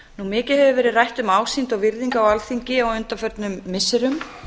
mikið hefur verið rætt um ásýnd og virðingu á alþingi á undanförnum missirum